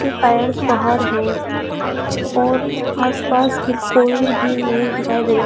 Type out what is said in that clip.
ये टायर्स बाहर है और आसपास भी कोई भी नहीं दिखाई दे रहे--